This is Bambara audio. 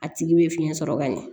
A tigi bɛ fiɲɛ sɔrɔ ka ɲɛ